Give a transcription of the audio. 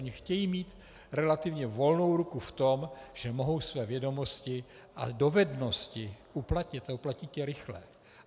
Oni chtějí mít relativně volnou ruku v tom, že mohou své vědomosti a dovednosti uplatnit a uplatnit je rychle.